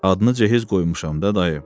Adını cehiz qoymuşam da dayı.